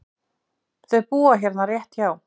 Þau búa hérna rétt hjá.